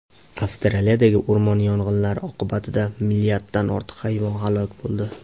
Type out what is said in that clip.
Avstraliyadagi o‘rmon yong‘inlari oqibatida milliarddan ortiq hayvon halok bo‘ldi.